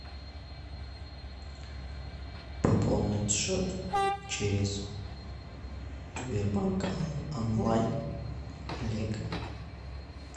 пополнить счет через сбербанк онлайн олега